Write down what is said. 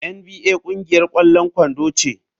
NBA ƙungiyar ƙwallon kwando ce.